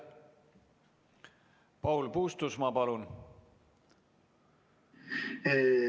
Paul Puustusmaa, palun!